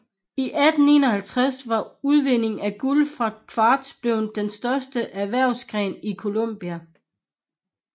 I 1851 var udvinding af guld fra kvarts blevet den største erhvervsgren i Coloma